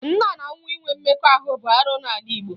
Nna na nwa inwe mmekọ bụ arụ n'ala Igbo